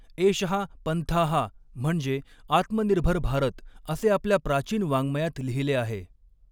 एषःपन्थाः म्हणजे आत्मनिर्भर भारत असे आपल्या प्राचीन वाङ्मयात लिहिले आहे.